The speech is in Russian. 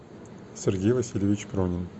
сергей васильевич пронин